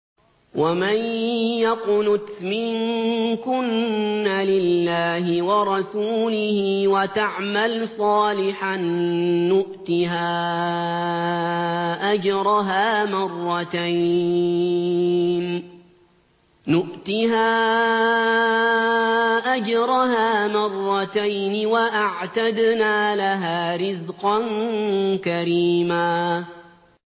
۞ وَمَن يَقْنُتْ مِنكُنَّ لِلَّهِ وَرَسُولِهِ وَتَعْمَلْ صَالِحًا نُّؤْتِهَا أَجْرَهَا مَرَّتَيْنِ وَأَعْتَدْنَا لَهَا رِزْقًا كَرِيمًا